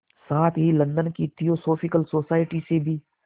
साथ ही लंदन की थियोसॉफिकल सोसाइटी से भी